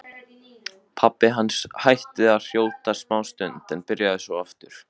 Pabbi hans hætti að hrjóta smástund en byrjaði svo aftur.